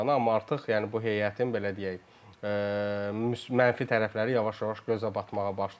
Amma artıq, yəni bu heyətin, belə deyək, mənfi tərəfləri yavaş-yavaş gözə batmağa başlayır.